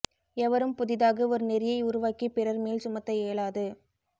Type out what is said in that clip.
எவரும் புதிதாக ஒரு நெறியை உருவாக்கி பிறர் மேல் சுமத்த இயலாது